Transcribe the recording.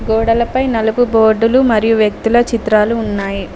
గోడలపై నలుపు బోర్డులు మరియు వ్యక్తుల చిత్రాలు ఉన్నాయి.